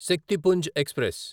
Shaktipunj express